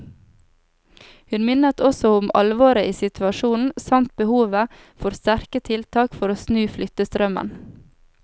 Hun minnet også om alvoret i situasjonen samt behovet for sterke tiltak for å snu flyttestrømmen.